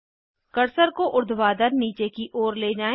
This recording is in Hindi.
कर्सर को उर्ध्वाधर नीचे की ओर ले जाएँ